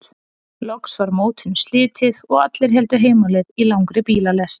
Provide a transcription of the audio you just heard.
Loks var mótinu slitið og allir héldu heim á leið í langri bílalest.